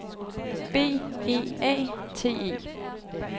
B E A T E